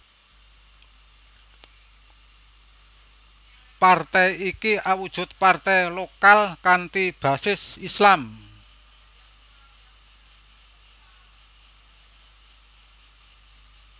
Partai iki awujud partai lokal kanthi basis Islam